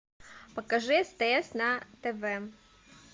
покажи стс на тв